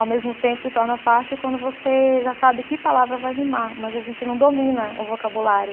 Ao mesmo tempo, se torna fácil quando você já sabe que palavra vai rimar, mas a gente não domina o vocabulário.